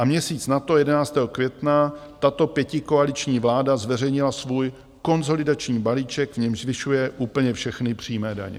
A měsíc na to, 11. května tato pětikoaliční vláda zveřejnila svůj konsolidační balíček, v němž zvyšuje úplně všechny přímé daně.